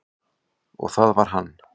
Og var það hann?